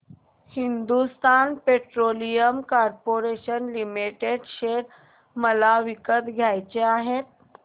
Hindustan petroleum corporation limited share मला विकत घ्यायचे आहेत